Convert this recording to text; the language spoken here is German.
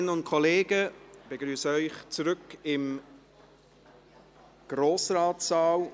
Kolleginnen und Kollegen, ich begrüsse Sie zurück im Grossratssaal.